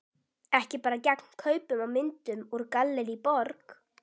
Ekki bara gegn kaupum á myndum úr Gallerí Borg.